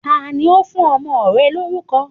Tani ó fún ọmọ rẹ lórúko